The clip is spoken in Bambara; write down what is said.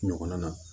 Ɲɔgɔn na